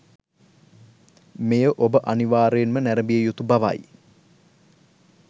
මෙය ඔබ අනිවාරයෙන්ම නැරඹිය යුතු බවයි